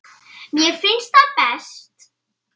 Mér finnst það best.